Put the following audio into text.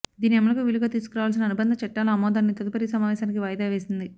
దీని అమలుకు వీలుగా తీసుకురావలసిన అనుబంధ చట్టాల ఆమోదాన్ని తదుపరి సమావేశానికి వాయిదా వేసింది